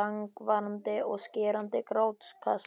langvarandi og skerandi grátkast.